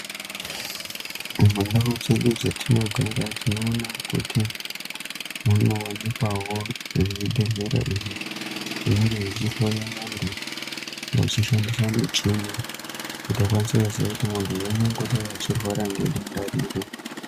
Mundau dzedu dzetinogara tinoona kuti munowanikwawo zvibhedhlera izvo zvinenge zvichihloya vantu vachishandisa muchini kuti vakwanise kuziya kuti muntu angangodai achirwara nedenda iri.